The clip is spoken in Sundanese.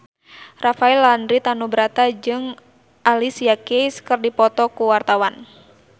Rafael Landry Tanubrata jeung Alicia Keys keur dipoto ku wartawan